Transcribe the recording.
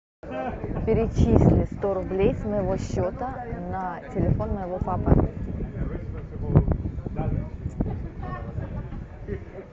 перечисли сто рублей с моего счета на телефон моего папы